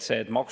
Aitäh!